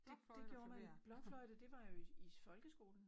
Det det gjorde man blokfløjte det var jo i folkeskolen